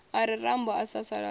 a re rambo a sasaladzwa